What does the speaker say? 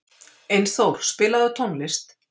Einþór, spilaðu tónlist.